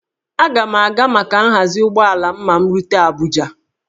Aga m a ga maka nhazi ụgbọala m ma m rute Abuja